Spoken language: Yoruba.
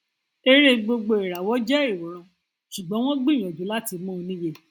eré gbogboìràwọ jẹ ìwòran ṣùgbọn wọn gbìyànjú láti mú un níye